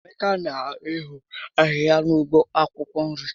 Emeka n'eho ahịhịa na ụgbọ akwụkwọ nri